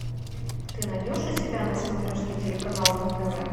ты найдешь у себя на смотрешке телеканал ру тв